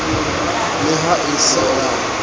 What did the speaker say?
le ha e se a